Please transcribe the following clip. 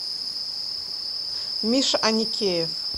миша аникеев